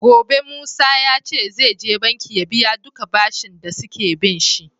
Gobe musa yace zai je banki ya biya duka bashin da suke binshi